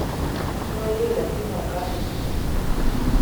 Noyie lakini ok ahinya